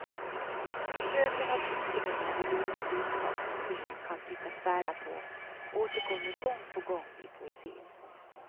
Försöken att utröna de dolda budskap som tingen kan tyckas bära på återkommer gång på gång i poesin.